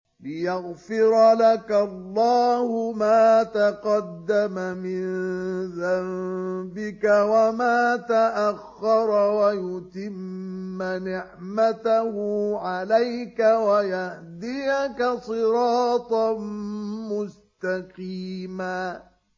لِّيَغْفِرَ لَكَ اللَّهُ مَا تَقَدَّمَ مِن ذَنبِكَ وَمَا تَأَخَّرَ وَيُتِمَّ نِعْمَتَهُ عَلَيْكَ وَيَهْدِيَكَ صِرَاطًا مُّسْتَقِيمًا